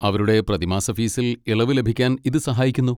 അവരുടെ പ്രതിമാസ ഫീസിൽ ഇളവ് ലഭിക്കാൻ ഇത് സഹായിക്കുന്നു.